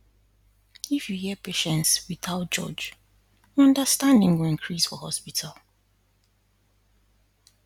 if you hear patients without judge understanding go increase for hospital